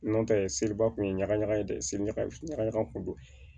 N'o tɛ seliba kun ye ɲaga ɲaga ye dɛ seli ɲaga ɲaga kun don